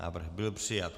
Návrh byl přijat.